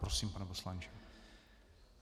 Prosím, pane poslanče.